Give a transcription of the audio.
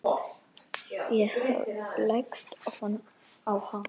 Ég leggst ofan á hann.